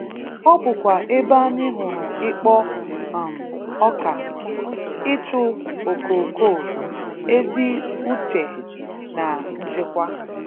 Ọ bụkwa ebe anyi hụrụ Ikpọ um oga, ịchụ okokoo, ezi ụche na nchekwa.